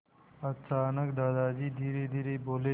अचानक दादाजी धीरेधीरे बोले